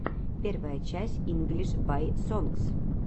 первая часть инглиш бай сонгс